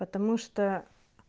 потому что